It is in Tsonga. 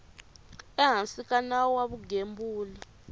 ehansi ka nawu wa vugembuli